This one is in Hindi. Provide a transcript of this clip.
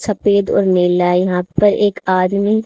सफ़ेद और मेला यहा पर एक आदमी।